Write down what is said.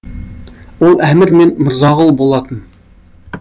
ол әмір мен мырзағұл болатын